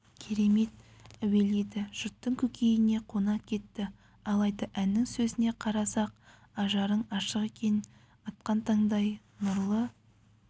керемет әуеледі жұрттың көкейіне қона кетті алайда әннің сөзіне қарасақ ажарың ашық екен атқан таңдай нұрлы